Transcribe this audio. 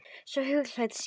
Svona huglægt séð.